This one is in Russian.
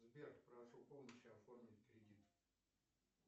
сбер прошу помощи оформить кредит